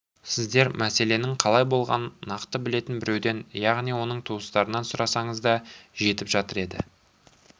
сіздер мәселенің қалай болғанын нақты білетін біреуден яғни оның туыстарынан сұрасаңыз да жетіп жатыр еді